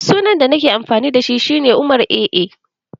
Sunan da nake amfani dashi shi ne Umar-AA